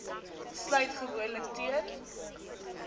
sluit gewoonlik teen